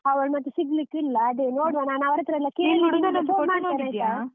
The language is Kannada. ಅವಳ್ ಮತ್ತೆ ಸಿಗ್ಲಿಕ್ಕಿಲ್ಲ, ಅದೇ ನೋಡ್ವಾ ನಾನ್ ಅವ್ರ ಹತ್ರ ಎಲ್ಲ .